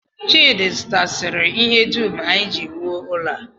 Chidi zụtasịrị ihe dum anyị ji wuo ụlọ a